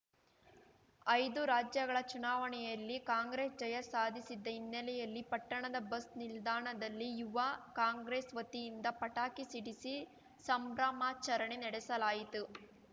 ಐದು ರಾಜ್ಯಗಳ ಚುನಾವಣೆಯಲ್ಲಿ ಕಾಂಗ್ರೆಸ್‌ ಜಯ ಸಾಧಿಸಿದ್ದ ಹಿನ್ನೆಲೆಯಲ್ಲಿ ಪಟ್ಟಣದ ಬಸ್‌ ನಿಲ್ದಾಣದಲ್ಲಿ ಯುವ ಕಾಂಗ್ರೆಸ್‌ ವತಿಯಿಂದ ಪಟಾಕಿ ಸಿಡಿಸಿ ಸಂಭ್ರಮಾಚರಣೆ ನಡೆಸಲಾಯಿತು